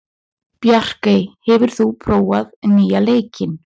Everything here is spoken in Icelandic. Bjarkey, hefur þú prófað nýja leikinn?